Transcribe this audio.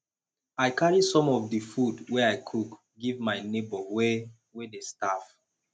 i carry some of di food wey i cook give my nebor wey wey dey starve